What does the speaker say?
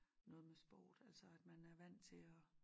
Noget med sport altså at man er vandt til at